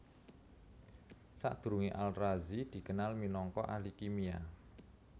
Sadurungé Al Razi dikenal minangka ahli kimia